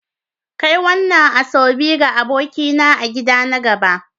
Kai wadannan Asoebi ga abokina a gida na gaba.